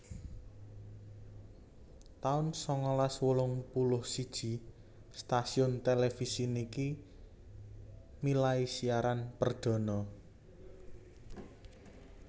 taun sangalas wolung puluh siji Stasiun televisi niki milai siaran perdhana